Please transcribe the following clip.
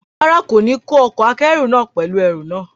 Rárá, kò ní kó ọkọ̀-akẹ́rù náà pẹ̀lú àwọn ẹrù náà